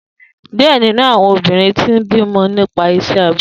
Diẹ ninu awọn obinrin ti n bimọ nipasẹ iṣẹ abẹ.